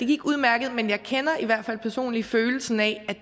gik udmærket men jeg kender i hvert fald personligt følelsen af at